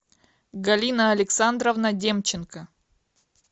галина александровна демченко